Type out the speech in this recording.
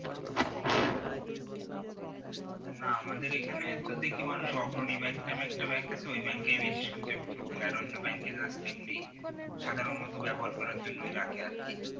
না আমাদের এখানে তো দেখি অগ্রণী নামে একটা bank আছে ওই bank এ বেশি সঞ্জয় পত্র করে আর just এমনি সাধারণত ব্যবহার করার জন্য রাখে আর কি